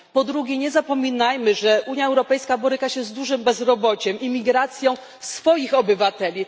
Po drugie nie zapominajmy, że Unia Europejska boryka się z dużym bezrobociem, imigracją swoich obywateli.